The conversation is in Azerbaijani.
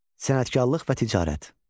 Sənətkarlıq və ticarət.